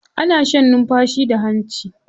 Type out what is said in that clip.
Ana shan numfashi da hanci.